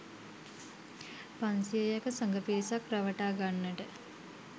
පන්සියයක සඟ පිරිසක් රවටා ගන්නට